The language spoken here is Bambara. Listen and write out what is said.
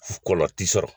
Kɔlɔn ti sɔrɔ